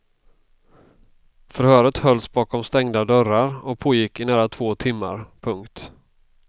Förhöret hölls bakom stängda dörrar och pågick i nära två timmar. punkt